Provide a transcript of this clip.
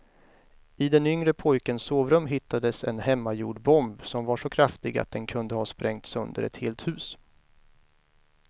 I den yngre pojkens sovrum hittades en hemmagjord bomb som var så kraftig att den kunde ha sprängt sönder ett helt hus.